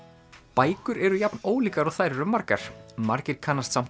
bækur eru jafn ólíkar og þær eru margar margir kannast samt